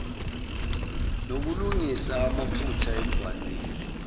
nokulungisa amaphutha embhalweni